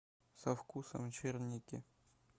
со вкусом черники